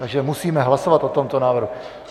Takže musíme hlasovat o tomto návrhu.